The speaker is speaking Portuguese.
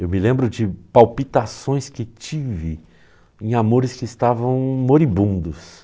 Eu me lembro de palpitações que tive em amores que estavam moribundos.